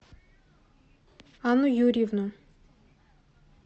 анну юрьевну